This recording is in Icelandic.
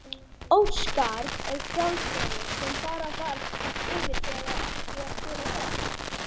Oddskarð er fjallvegur sem fara þarf yfir þegar ekið er til og frá